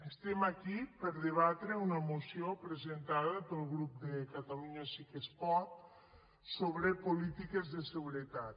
estem aquí per debatre una moció presentada pel grup de catalunya sí que es pot sobre polítiques de seguretat